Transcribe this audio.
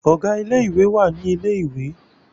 Ọ̀gá ilé ìwé wà ní ilẹ̀ ìwé